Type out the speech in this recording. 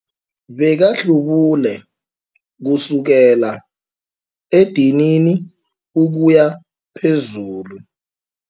Bekahlubule kusukela edinini ukuya phezulu.